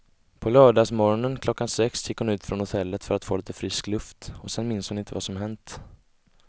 På lördagsmorgonen klockan sex gick hon ut från hotellet för att få lite frisk luft och sen minns hon inte vad som hänt.